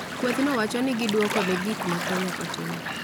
Kwethno wacho ni gidwoko ne gik ma Kenya otimo